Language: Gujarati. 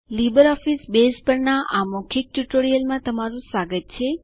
લીબરઓફીસ બેઝ પરના આ મૌખિક ટ્યુટોરીયલમાં તમારું સ્વાગત છે